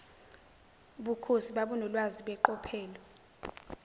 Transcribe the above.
bukhosi babunolwazi beqophelo